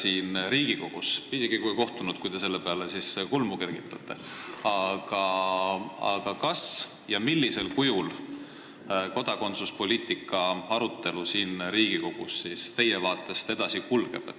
Isegi kui ei kohtunud – te kergitasite selle peale kulmu –, millisel kujul kodakondsuspoliitika arutelu siin Riigikogus teie arvates edasi kulgeb?